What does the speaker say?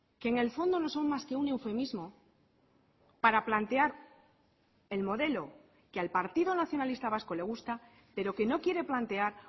que en el fondo no son más que un eufemismo para plantear el modelo que al partido nacionalista vasco le gusta pero que no quiere plantear